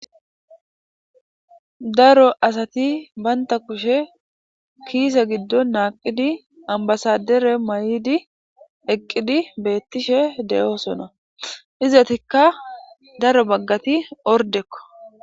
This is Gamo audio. daro asati baynta kushe kiise giddon naaqidi ambasadere may7idi eqqidi beettishe de7oosona izatikka daro baggati ordekko